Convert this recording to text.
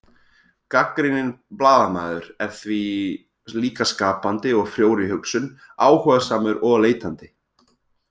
Gagnrýninn blaðamaður er því líka skapandi og frjór í hugsun, áhugasamur og leitandi.